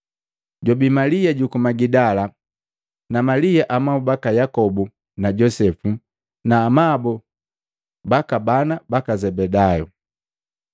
Jwabii Malia juku Magidala na Malia amabu baka Yakobu na Josepu na amabu baka bana baka Zebedayu. Kuntaga Yesu Maluko 15:42-47; Luka 23:50-56; Yohana 19:38-42